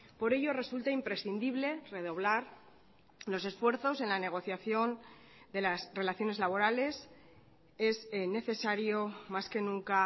por ello resulta imprescindible redoblar los esfuerzos en la negociación de las relaciones laborales es necesario más que nunca